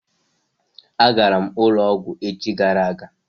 A garam ulo ogwu echi gara aga